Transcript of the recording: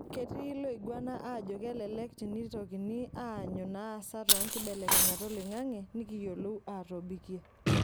Ketii loiguana aajo kelelk tinikitoni aanyu naasa toonkibelekenyat oloing'ang'e nikiyiolou aatobikie.